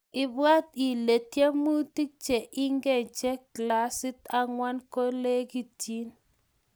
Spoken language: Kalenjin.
ibwaat ile tiwmutik che ike che klasit angwan kolekiten